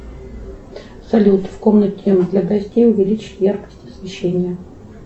салют в комнате для гостей увеличить яркость освещения